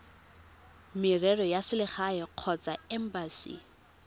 merero ya selegae kgotsa embasi